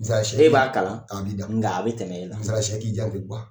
E b'a kalan, i b'i dan. nga a bɛ tɛmɛn e bɛ tɛmɛ e la, n'i taaro so, i k'i janto,